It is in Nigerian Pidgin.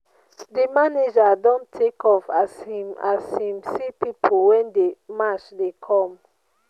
di manager don take off as im as im see pipu wey dey match dey come.